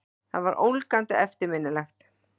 Það var ólgandi eftirminnilegt.